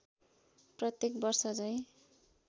प्रत्येक वर्षझैँ